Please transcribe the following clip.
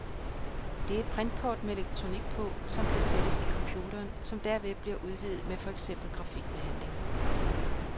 Det er et printkort med elektronik på, som kan sættes i computeren, som derved bliver udvidet med for eksempel grafikbehandling.